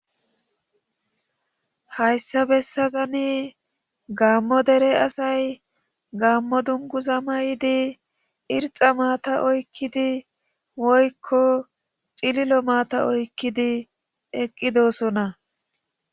hayssa bessazani gaammo dere asay gaammo dungu za may7di irxa maata oykkidi woykko cililo maata oykkidi eqqidosona